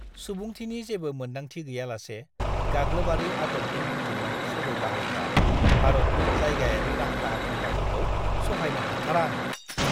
सुबुंथिनि जेबो मोनदांथि गैयालासे गाग्लोबारि आदबनि बुथुमनाय सोलो बाहायग्रा भारतनि जायगायारि रां दाहार होग्राफोरखौ सहायनो हाथारा आं।